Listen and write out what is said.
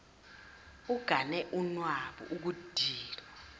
ugane unwabu ukudinwa